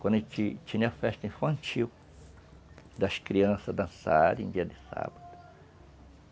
Quando tinha festa infantil, das crianças dançarem dia de sábado.